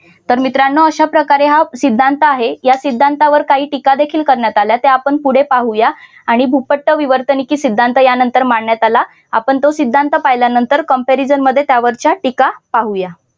तर मित्रांनो अशा प्रकारे हा सिद्धांत आहे या सिद्धांतावर काही टीकादेखील करण्यात आल्या त्या आपण पुढे पाहूया आणि भूपट्ट विवर्तनिके सिद्धांत यानंतर मांडण्यात आला आपण तो सिद्धांत पाहिल्यानंतर comparison मध्ये त्यावरच्या टीका पाहूया.